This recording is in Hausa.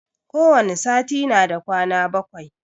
Ko wani sati na da kwana bakwai